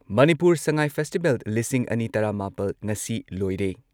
Manipur Sangai festival ꯂꯤꯁꯤꯡ ꯑꯅꯤ ꯇꯔꯥ ꯃꯥꯄꯜ ꯉꯁꯤ ꯂꯣꯏꯔꯦ ꯫